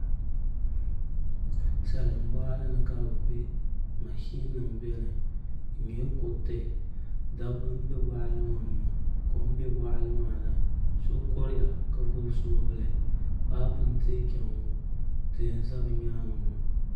Salin boɣali ni ka bi bɛ mashin bɛ boɣali ni di nyɛla kuriti dabba n bɛ boɣali ni ŋo kom bɛ boɣali maa ni so kuriya ka gbuni soobuli paapu n tiɛ chɛŋ ŋo tihi n ʒɛ bi nyaangi ŋo